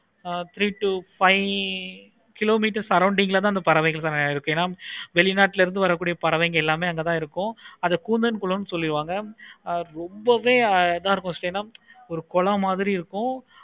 Ah three to five kilometers ல தான் surrounding ல தான் அந்த பறவைகள் எல்லாம் இருக்கு. வேல் நாட்டுல இருந்து வர கூடிய பறவைகள் எல்லாமே அங்க தன இருக்கும். அது கூந்தல் குளம் எல்லாமே இருக்கும். ரொம்பவே இத்தா இருக்கும். ஒரு குளம் மாதிரி இருக்கும்.